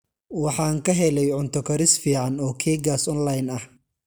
Waxaan ka helay cunto karis fiican oo keegaas online ah.